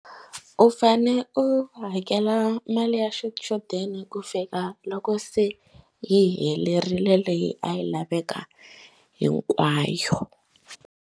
U fane u hakela mali ya xichudeni ku fika loko se hi helerile leyi a yi laveka hinkwayo.